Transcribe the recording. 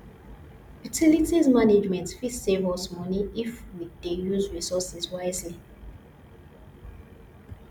utilities management fit save us money if we dey use resources wisely